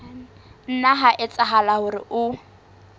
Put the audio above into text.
nna ha etsahala hore o